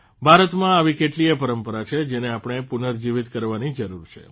ભારતમાં આવી કેટલીય પરંપરા છે જેને આપણે પુનર્જીવીત કરવાની જરૂર છે